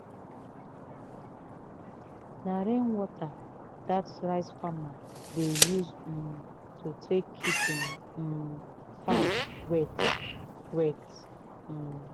na rain water dat rice farmer dey use um to take keep him um farm wet. wet. um